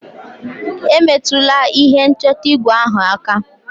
Emetụla ihe nchọta igwe ahụ aka!